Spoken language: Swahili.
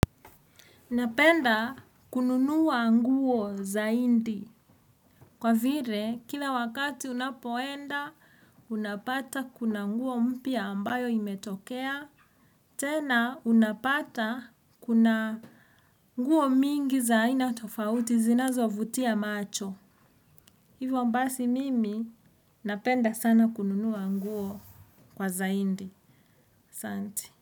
Napenda kununuwa nguo zaidi. Kwa vile, kila wakati unapoenda, unapata kuna nguo mpya ambayo imetokea. Tena, unapata kuna nguo mingi za aina tofauti zinazo vutia macho. Hivyo basi mimi, napenda sana kununuwa nguo kwa zaidi. Asanti.